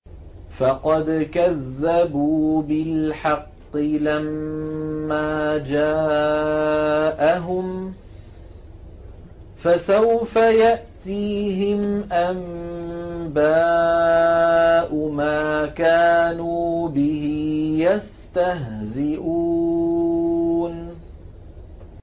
فَقَدْ كَذَّبُوا بِالْحَقِّ لَمَّا جَاءَهُمْ ۖ فَسَوْفَ يَأْتِيهِمْ أَنبَاءُ مَا كَانُوا بِهِ يَسْتَهْزِئُونَ